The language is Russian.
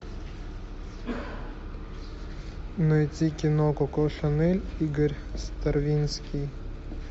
найти кино коко шанель игорь стравинский